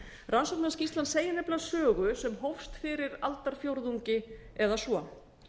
rannsóknarskýrslan segir sögu sem hófst fyrir aldarfjórðungi eða svo